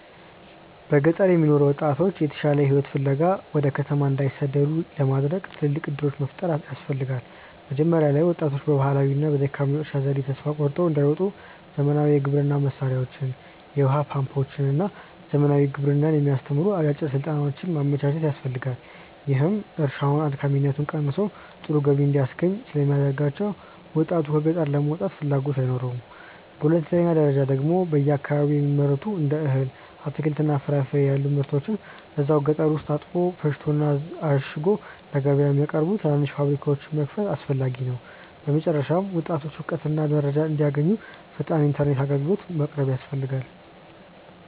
በገጠር የሚኖሩ ወጣቶች የተሻለ ሕይወት ፍለጋ ወደ ከተማ እንዳይሰደዱ ለማድረግ ትልልቅ ዕድሎች መፍጠር ያስፈልጋ። መጀመሪያ ላይ ወጣቶች በባህላዊውና በደካማው የእርሻ ዘዴ ተስፋ ቆርጠው እንዳይወጡ ዘመናዊ የግብርና መሣሪያዎችን፣ የውኃ ፓምፖችንና ዘመናዊ ግብርናን የሚያስተምሩ አጫጭር ሥልጠናዎችን ማመቻቸት ያስፈልጋል፤ ይህም እርሻውን አድካሚነቱ ቀንሶ ጥሩ ገቢ እንዲያስገኝ ስለሚያደርጋቸው ወጣቱ ከገጠር ለመውጣት ፍላጎት አይኖረውም። በሁለተኛ ደረጃ ደግሞ በየአካባቢው የሚመረቱትን እንደ እህል፣ አትክልትና ፍራፍሬ ያሉ ምርቶችን እዛው ገጠር ውስጥ አጥቦ፣ ፈጭቶና አሽጎ ለገበያ የሚያቀርቡ ትናንሽ ፋብሪካዎችን መክፈት አስፈላጊ ነው። በመጨረሻም ወጣቶች እውቀትና መረጃ እንዲያገኙ ፈጣን ኢተርኔት አግልግሎት ማቅረብ ያስፈልጋል